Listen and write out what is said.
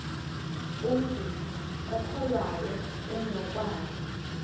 umntu okholwayo unokwazi